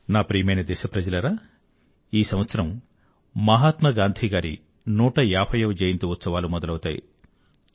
నా ప్రియమైన దేశ ప్రజలారా ఈ సంవత్సరం మహాత్మా గాంధీ గారి 150వ జయంతి ఉత్సవాలు మొదలౌతాయి